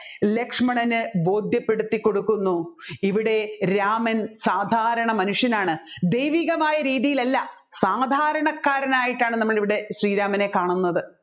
ലക്ഷ്മണന് ബോധ്യപെടുത്തിക്കൊടുക്കുന്നു ഇവിടെ രാമൻ സാദാരണ മനുഷ്യനാണ് ദൈവികമായ രീതിയിലല്ല സാദാരണകാരനായിട്ടാണ് നമ്മൾ ഇവിടെ ശ്രീരാമനെ കാണുന്നത്